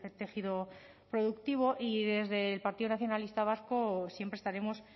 tejido productivo y desde el partido nacionalista vasco siempre estaremos